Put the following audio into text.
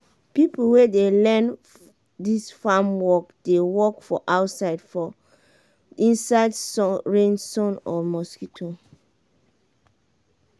pipo wey dey learn dis farm work dey work for outside for inside rain sun or mosquito.